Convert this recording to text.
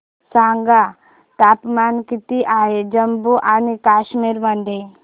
सांगा तापमान किती आहे जम्मू आणि कश्मीर मध्ये